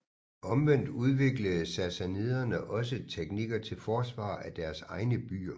Omvendt udviklede sassaniderne også teknikker til forsvar af deres egne byer